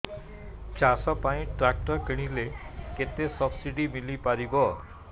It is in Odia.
ଚାଷ ପାଇଁ ଟ୍ରାକ୍ଟର କିଣିଲେ କେତେ ସବ୍ସିଡି ମିଳିପାରିବ